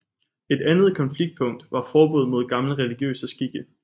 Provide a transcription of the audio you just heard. Et andet konfliktpunkt var forbud mod gamle religiøse skikke